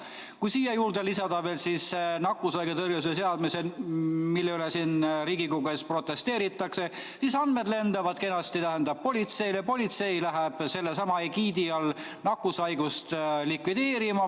Kui siia lisada veel nakkushaiguste tõrje seadus, mille vastu siin Riigikogu ees protesteeritakse, siis andmed lendavad kenasti politseile ja politsei läheb sellesama egiidi all nakkushaigust likvideerima.